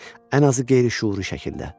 Ən azı qeyri-şüuri şəkildə.